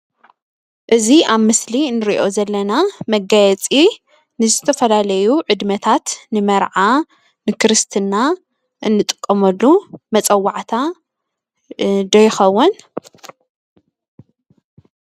እዚ ኣብ ምስሊ ንሪኦ ዘለና መጋየፂ ንዝተፈላለዩ ዕድመታት ንመርዓ፣ ንክርስትና እንጥቀመሉ መፀዋዕታ ዶ ይኸውን?